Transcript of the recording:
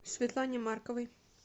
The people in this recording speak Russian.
светлане марковой